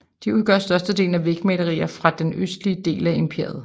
De udgør størstedelen af vægmalerier fra den østlige del af imperiet